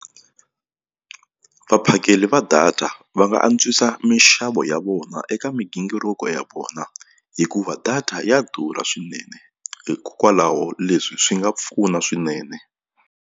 Vaphakeli va data va nga antswisa mixavo ya vona eka migingiriko ya vona hikuva data ya durha swinene hikwalaho leswi swi nga pfuna swinene.